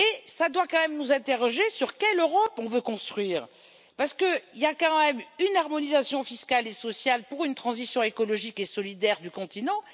Cela doit quand même nous interroger sur l'Europe que nous voulons construire, parce qu'il y a quand même une harmonisation fiscale et sociale pour une transition écologique et solidaire du continent.